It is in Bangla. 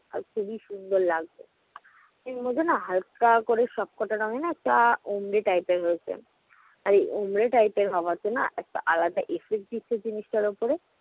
খুবি সুন্দর লাগছে। এর মধ্যে না হাল্কা করে সব কটা রঙ্গে না একটা type এর রয়েছে। আর এই type এর হওয়াতে না আরেকটা effect দিচ্ছে জিনিসটার ওপরে।